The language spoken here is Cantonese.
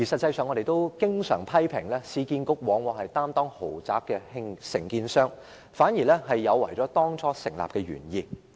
我們經常批評市建局擔當豪宅承建商，有違當初成立市建局的原意。